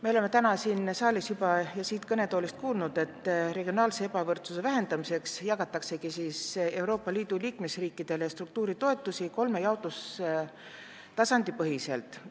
Me oleme täna siin saalis ja siit kõnetoolist juba kuulnud, et regionaalse ebavõrdsuse vähendamiseks jagatakse Euroopa Liidu liikmesriikidele struktuuritoetusi kolme jaotustasandi põhiselt.